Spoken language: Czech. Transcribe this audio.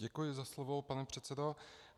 Děkuji za slovo, pane předsedo.